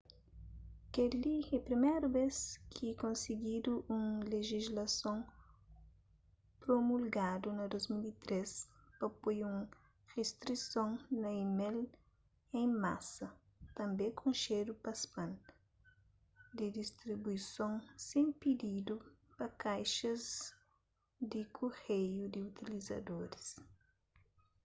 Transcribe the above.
kel-li é priméru bês ki konsigidu un lejislason promulgadu na 2003 pa poi un ristrison na email en masa tanbê konxedu pa spam di distribuison sen pididu pa kaixas di kureiu di utlizadoris